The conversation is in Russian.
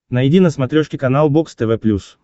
найди на смотрешке канал бокс тв плюс